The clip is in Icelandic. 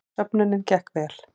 Söfnunin gekk vel